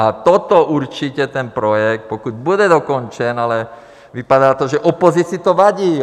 A toto určitě ten projekt, pokud bude dokončen... ale vypadá to, že opozici to vadí.